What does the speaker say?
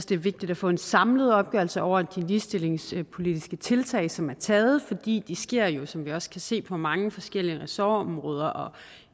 det er vigtigt at få en samlet opgørelse over de ligestillingspolitiske tiltag som er taget fordi de sker jo som vi også kan se på mange forskellige ressortområder og